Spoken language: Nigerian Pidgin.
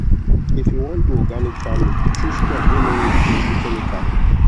if you won do organic farming chose crop wey nor need plenty chemical